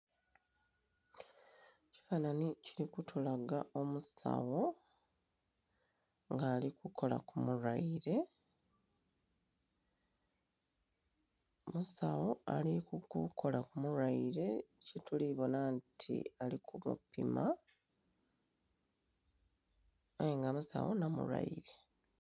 Ekifananhi kili kutulaga omusawo nga ali kukola ku mulwaire, omusawo ali kukola ku mulwaire kye tuli kubonha nti ali ku mupima aye nga basawo nho mulwaire.